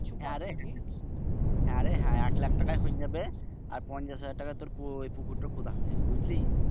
হ্যাঁ রে হ্যাঁ হ্যাঁ রে হ্যাঁ এক লাক্ষ টাকায় হনই যাবে। আর পঞ্চাশ হাজার টাকায় তুর পুকুরটা খোদান হয়ে যাবে।